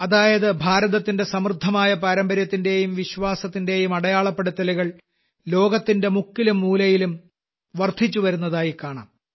അതായത് ഭാരതത്തിന്റെ സമൃദ്ധമായ പാരമ്പര്യത്തിന്റെയും വിശ്വാസത്തിന്റെയും അടയാളപ്പെടുത്തലുകൾ മുക്കിലും മൂലയിലും വർദ്ധിച്ചവരുന്നതായി കാണാം